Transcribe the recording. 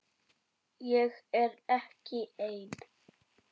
Ég er ekki ein.